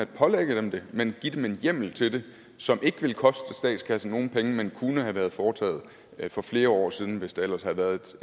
pålægger dem det men giver dem en hjemmel til det som ikke ville koste statskassen nogen penge men kunne have været foretaget for flere år siden hvis der ellers havde været